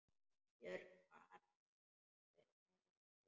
Björg bar nafn með rentu.